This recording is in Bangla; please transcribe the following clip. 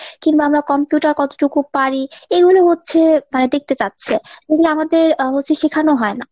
কিংবা আমরা computer কতটুকু পারি এগুলো হচ্ছে মানে দেখতে চাচ্ছে। এগুলো আমাদের শেখানো হয় না।